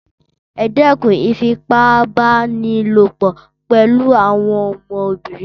Ẹdẹkûn ìfipá-bá-ni-lò-pò pẹlu àwọn ọmọbìnrin